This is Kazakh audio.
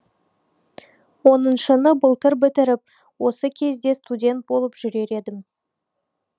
оныншыны былтыр бітіріп осы кезде студент болып жүрер едім